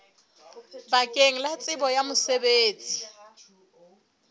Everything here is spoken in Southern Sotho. bakeng la tsebo ya mosebetsi